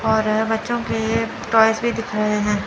और बच्चों के टॉयज भी दिख रहे हैं।